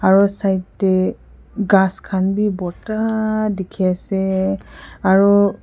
aro side teh ghas khan bi borta dikhi ase aru.